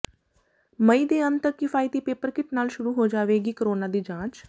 ਮਈ ਦੇ ਅੰਤ ਤਕ ਕਿਫ਼ਾਇਤੀ ਪੇਪਰ ਕਿੱਟ ਨਾਲ ਸ਼ੁਰੂ ਹੋ ਜਾਵੇਗੀ ਕੋਰੋਨਾ ਦੀ ਜਾਂਚ